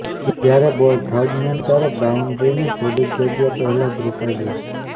જ્યારે ball third man તરફ બાઉન્ડ્રીની થોડીક જગ્યા પહેલાજ રોકાઇ ગઇ